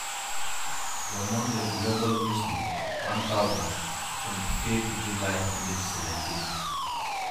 Lomon le Global Newsbeat 1000 25/07/2017.